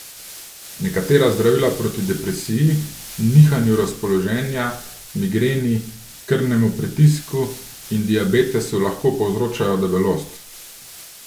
Nekatera zdravila proti depresiji, nihanju razpoloženja, migreni, krvnemu pritisku in diabetesu lahko povzročajo debelost.